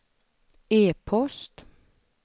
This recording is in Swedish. e-post